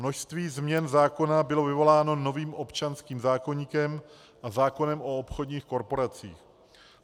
Množství změn zákona bylo vyvoláno novým občanským zákoníkem a zákonem o obchodních korporacích.